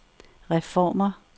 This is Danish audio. reformer